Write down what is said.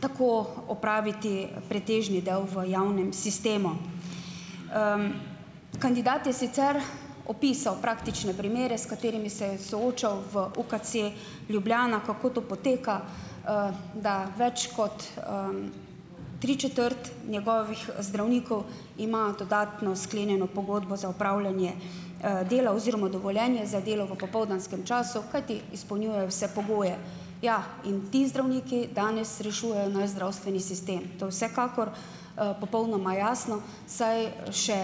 tako opraviti pretežni del v javnem sistemu. Kandidat je sicer opisal praktične primere, s katerimi se je soočal v UKC Ljubljana, kako to poteka, da več kot tri četrt njegovih zdravnikov ima dodatno sklenjeno pogodbo za opravljanje, dela oziroma dovoljenje za delo v popoldanskem času, kajti izpolnjujejo vse pogoje. Ja, in ti zdravniki danes rešujejo naš zdravstveni sistem, to vsekakor, popolnoma jasno, saj še